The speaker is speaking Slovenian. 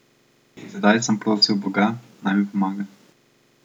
In tedaj sem prosil Boga, naj mi pomaga.